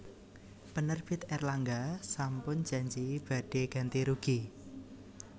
Penerbit Erlangga sampun janji badhe ganti rugi